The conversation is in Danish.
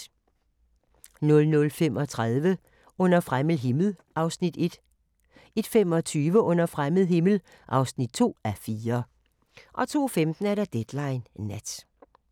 00:35: Under fremmed himmel (1:4) 01:25: Under fremmed himmel (2:4) 02:15: Deadline Nat